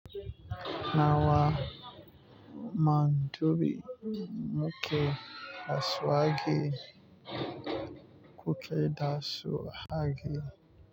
Nawa mandubi, muke asu wage kuke dasu age.